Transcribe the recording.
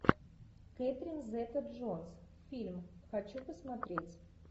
кэтрин зета джонс фильм хочу посмотреть